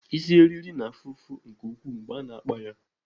Isi eriri na-afụ ụfụ nke ukwuu mgbe a na-akpa ya.